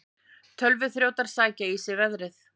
Tölvuþrjótar sækja í sig veðrið